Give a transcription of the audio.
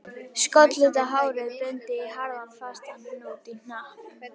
Skollitað hárið bundið í harðan, fastan hnút í hnakk